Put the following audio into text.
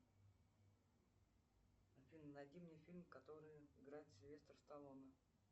афина найди мне фильм в котором играет сильвестр сталлоне